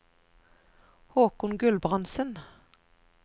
Håkon Gulbrandsen